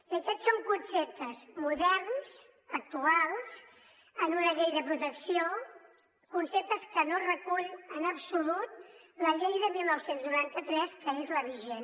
i aquests són conceptes moderns actuals en una llei de protecció conceptes que no recull en absolut la llei de dinou noranta tres que és la vigent